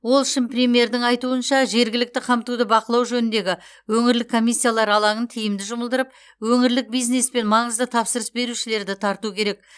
ол үшін премьердің айтуынша жергілікті қамтуды бақылау жөніндегі өңірлік комиссиялар алаңын тиімді жұмылдырып өңірлік бизнес пен маңызды тапсырыс берушілерді тарту керек